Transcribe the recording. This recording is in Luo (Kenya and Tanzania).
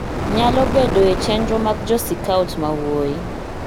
nyalo bedo e chenro mag Jo Sikaot ma wuoyi,